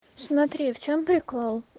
смотри в чем прикол